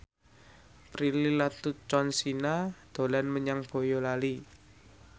Prilly Latuconsina dolan menyang Boyolali